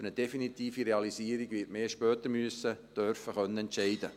Über eine definitive Realisierung wird man erst später entscheiden müssen/dürfen/können.